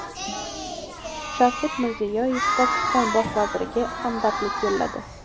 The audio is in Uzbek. Shavkat Mirziyoyev Pokiston bosh vaziriga hamdardlik yo‘lladi.